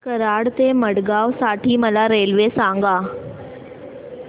कराड ते मडगाव साठी मला रेल्वे सांगा